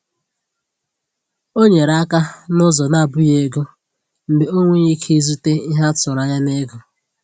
Ọ nyere aka n’ụzọ na-abụghị ego mgbe o nweghị ike izute ihe a tụrụ anya n’ego.